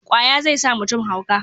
ƙwaya zai sa mutum hauka